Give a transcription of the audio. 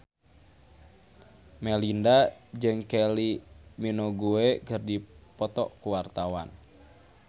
Melinda jeung Kylie Minogue keur dipoto ku wartawan